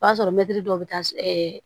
O y'a sɔrɔ mɛtiri dɔ be taa